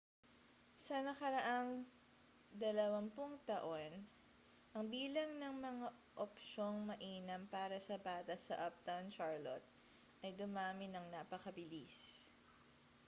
sa nakaraang 20 taon ang bilang ng mga opsyong mainam para sa bata sa uptown charlotte ay dumami nang napakabilis